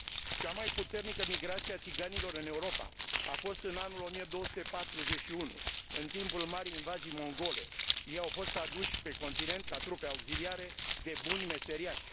Cea mai puternică migrație a țiganilor în Europa a fost în anul 1241, în timpul marii invazii mongole, ei au fost aduși pe continent ca trupe auxiliare de buni meseriași.